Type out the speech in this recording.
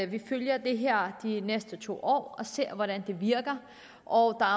vi kan følge det her de næste to år og se hvordan det virker og